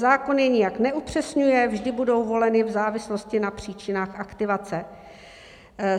Zákon je nijak neupřesňuje, vždy budou voleny v závislosti na příčinách aktivace.